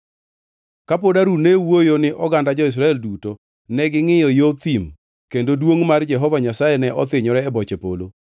Ka pod Harun ne wuoyo ni oganda jo-Israel duto, negingʼiyo yo thim kendo duongʼ mar Jehova Nyasaye ne othinyore e boche polo.